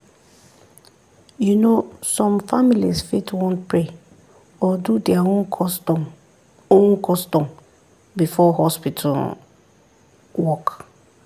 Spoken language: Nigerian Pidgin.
you know some families fit want pray or do their own custom own custom before hospital work.